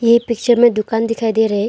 ये पिक्चर में दुकान दिखाई दे रहा है।